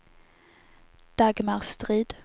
Dagmar Strid